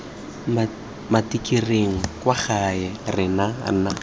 matikiring kwa gae re na